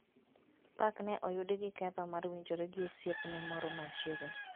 Park ne oyudi gi ketho mar winjore gi osiepne moro ma chiegni